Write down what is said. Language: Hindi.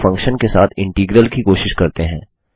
अब एक फंक्शन के साथ इंटीग्रल की कोशिश करते हैं